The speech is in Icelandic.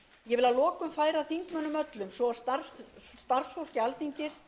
ég vil að lokum færa þingmönnum öllum svo og starfsfólki alþingi